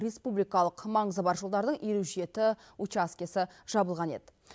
республикалық маңызы бар жолдардың елу жеті учаскесі жабылған еді